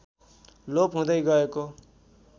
लोप हुँदै गएको